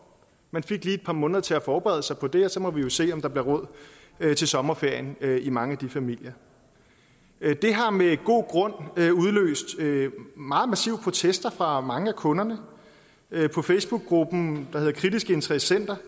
man fik lige et par måneder til at forberede sig på det og så må vi jo se om der bliver råd til sommerferien i mange af de familier det har med god grund udløst meget massive protester fra mange af kunderne facebookgruppen der hedder kritiske interessenter